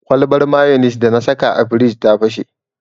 Kwalbar mayonis dana saka a firij ta fashe.